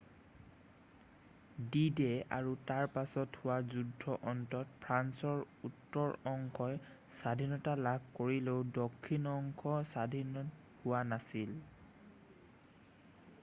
D-Day আৰু তাৰ পাছত হোৱা যুদ্ধৰ অন্তত ফ্ৰান্সৰ উত্তৰ অংশই স্বাধীনতা লাভ কৰিলেও দক্ষিণ অংশ স্বাধীন হোৱা নাছিল